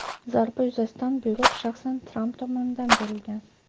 Zarba yuzasidan buyruq shaxsan Tramp tomonidan berilgan.